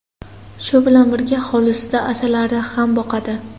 Shu bilan birga hovlisida asalari ham boqadi.